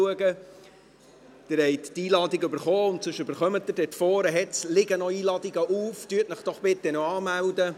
Sie haben die Einladung erhalten, oder sonst erhalten Sie sie noch, da vorne liegen noch Einladungen auf, melden Sie sich doch bitte noch an.